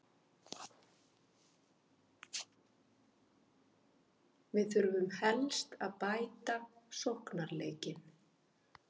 Við þurfum helst að bæta sóknarleikinn.